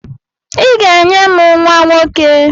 I ga-enye m nwa nwoke!